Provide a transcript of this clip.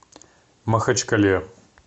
махачкале